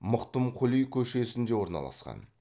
мықтымқұли көшесінде орналасқан